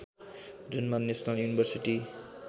जुनमा national university